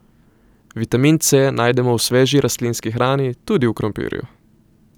Vitamin C najdemo v sveži rastlinski hrani tudi v krompirju.